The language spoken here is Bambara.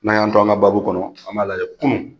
N'aN y'an to an ka baabu, an m'a lajɛ kunun